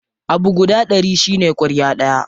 Abu guda ɗari shine ƙwarya ɗaya.